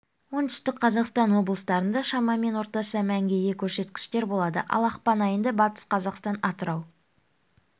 оңтүстік қазақстан облыстарында шамамен орташа мәнге ие көрсеткіштер болады ал ақпан айында батыс қазақстан атырау